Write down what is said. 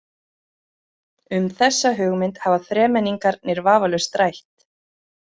Um þessa hugmynd hafa þremenningarnir vafalaust rætt.